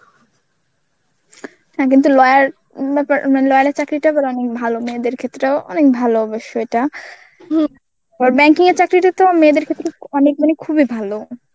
হ্যাঁ কিন্তু lawyer ব্যাপ~ মানে lawyer চাকরীটা আবার অনেক ভালো মেয়েদের ক্ষেত্রেও অনেক ভালো অবশ্য এটা আবার Banking এর চাকরিটা তো মেয়েদের ক্ষেত্রে অনেক মানে খুবই ভালো.